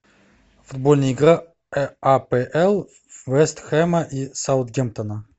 футбольная игра апл вест хэма и саутгемптона